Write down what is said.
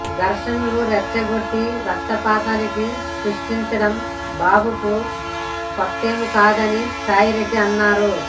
ఘర్షణలు రెచ్చగొట్టి రక్తపాతాలు సృష్టించడం బాబుకు కొత్తేం కాదని సాయిరెడ్డి అన్నారు